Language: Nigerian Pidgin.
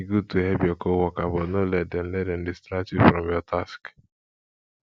e good to help your coworker but no let dem let dem distract you from your task